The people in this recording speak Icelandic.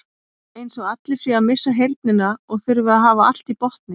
Eins og allir séu að missa heyrnina og þurfi að hafa allt í botni.